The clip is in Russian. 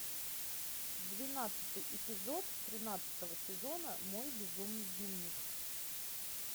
двенадцатый эпизод тринадцатого сезона мой безумный дневник